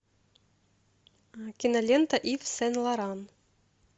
кинолента ив сен лоран